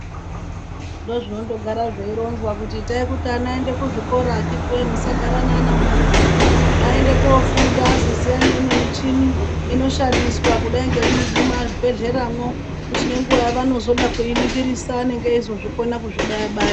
Ndozvinondo gara zveironzwa kuti itai kuti ana aende kuzvikora akhitiwoye. Musagara neana mumamizi, aende kunofunda azoziya neimwe michini inoshandiswa kudai nemumabhehleyamwo kuti nenguva yaanozoda kuiningirisa anenge eizozvikona kuzvibaya baya.